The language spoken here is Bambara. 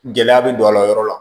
Gɛlɛya bɛ don a la o yɔrɔ la